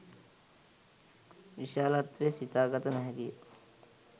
විශාලත්වය සිතාගත නොහැකිය